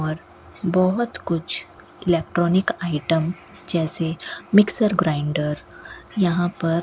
और बहुत कुछ इलेक्ट्रॉनिक आइटम जैसे मिक्सर ग्राइंडर यहां पर --